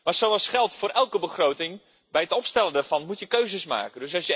Maar zoals geldt voor elke begroting bij het opstellen daarvan moet je keuzes maken.